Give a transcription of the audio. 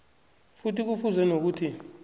futhi kufuze nokuthi